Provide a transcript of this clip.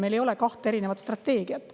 Meil ei ole kahte erinevat strateegiat.